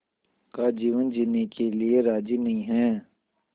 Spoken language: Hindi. का जीवन जीने के लिए राज़ी नहीं हैं